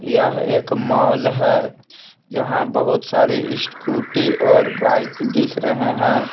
यह एक मॉल है यहां बहोत सारे स्कूटी और बाइक दिख रहे हैं।